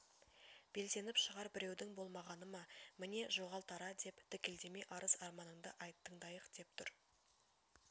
белсеніп шығар біреудің болмағаны ма міне жоғал тара деп дікілдемей арыз-арманыңды айт тыңдайық деп тұр